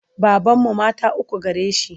Babanmu mata uku gare shi.